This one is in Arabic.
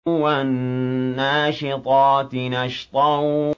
وَالنَّاشِطَاتِ نَشْطًا